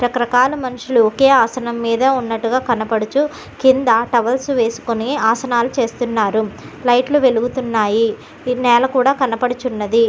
రక రకాల మనుషులు ఆసనం మీద ఉన్నట్టుగా కనపడుచు కింద టవల్స్ వేసుకొని ఆసనాలు చేస్తున్నారు లైట్లు వెలుగుతున్నాయి నెల కుడా కనపడుచున్నది.